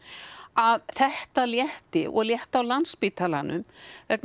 að þetta létti og létti á Landspítalanum vegna